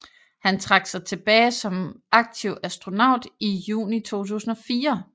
Han trak sig tilbage som aktiv astronaut i juni 2004